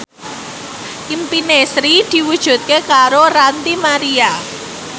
impine Sri diwujudke karo Ranty Maria